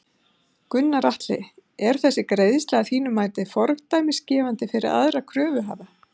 Gunnar Atli: Er þessi greiðsla að þínu mati fordæmisgefandi fyrir aðra kröfuhafa?